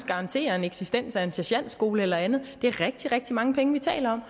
garantere eksistensen af en sergentskole eller andet det er rigtig rigtig mange penge vi taler om